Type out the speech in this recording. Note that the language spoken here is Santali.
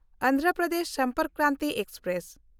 ᱚᱱᱫᱷᱨᱚ ᱯᱨᱚᱫᱮᱥ ᱥᱚᱢᱯᱚᱨᱠ ᱠᱨᱟᱱᱛᱤ ᱮᱠᱥᱯᱨᱮᱥ